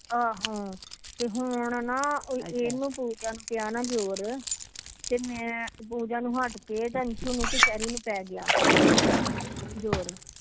ਆਹੋ ਤੇ ਹੁਣ ਨਾ ਤੇ ਮੈ ਪੂਜਾ ਨੂੰ ਹੱਠ ਕੇ ਪੈਗਿਆ ਜੋਰ